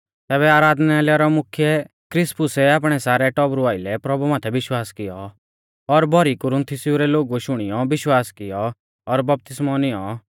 तैबै आराधनालय रौ मुख्यै क्रिसपुसै आपणै सारै टौबरु आइलै प्रभु माथै विश्वास कियौ और भौरी कुरीन्थयु रै लोगुऐ शुणियौ विश्वास कियौ और बपतिस्मौ नियौं